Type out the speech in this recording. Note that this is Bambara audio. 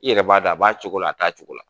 I yɛrɛ b'a dɔ, a b'a cogo la a t'a cogo la.